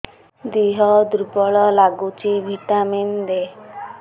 ଦିହ ଦୁର୍ବଳ ଲାଗୁଛି ଭିଟାମିନ ଦେ